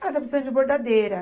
Ela está precisando de bordadeira.